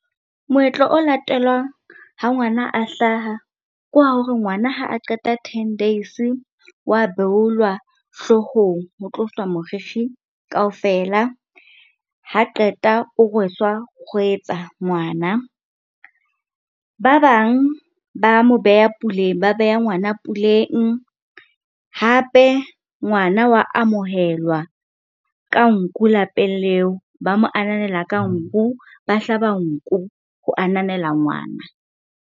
Moetlo o latelwang ha ngwana a hlaha, ke wa hore ngwana ha a qeta ten days wa beolwa hloohong, ho tloswa moriri kaofela. Ha qeta o rweswa kgwetsa ngwana. Ba bang ba mo beha puleng, ba beha ngwana puleng. Hape, ngwana wa amohelwa ka nku lapeng leo, ba mo ananela ka nku, ba hlaba nku ho ananela ngwana.